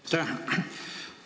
Aitäh!